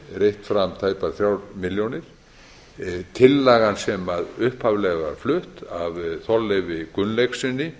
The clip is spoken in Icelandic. reitt fram tæpar þrjár milljónir tillagan sem upphaflega var flutt af þorleifi gunnlaugssyni